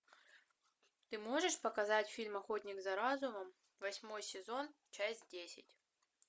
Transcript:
ты можешь показать фильм охотник за разумом восьмой сезон часть десять